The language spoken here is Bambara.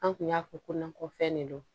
An kun y'a fɔ ko ko fɛn de don